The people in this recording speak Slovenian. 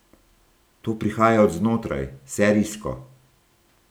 To prihaja od znotraj, serijsko.